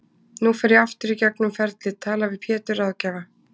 Nú fer ég aftur í gegnum ferlið, tala við Pétur ráðgjafa